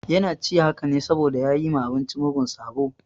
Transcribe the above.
Yana ci haka ne saboda ya yi ma abinci mugun sabo.